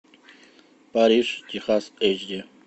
париж техас эйч ди